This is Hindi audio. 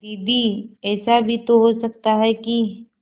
दीदी ऐसा भी तो हो सकता है कि